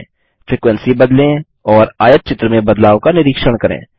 frequency बदलें और आयतचित्र में बदलाव का निरीक्षण करें